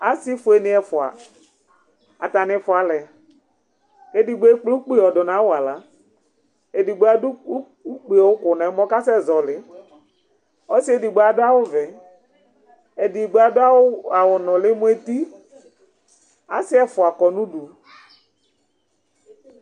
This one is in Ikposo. Asi fue ni ɛfua, ata ni fʋlɛ ku edigbo ekple ukpi yɔdu nu awala edigbo adu ukpie ku nu ɛmɔ ku asɛ zɔli, ku ɔsi edigbo adu awu vɛ, edigbo adu awu awu nuli mu eti, asi ɛfʋ kɔnu udu